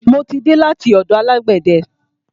Mo ti dé láti ọ̀dọ̀ alágbẹ̀de.